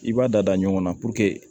I b'a da ɲɔgɔn na puruke